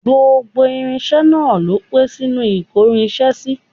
Gbogbo irinṣẹ́ náà ló pé sínú ìkórinṣẹ́ sí